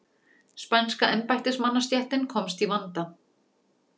Spænska embættismannastéttin komst í vanda.